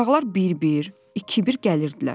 Uşaqlar bir-bir, iki-bir gəlirdilər.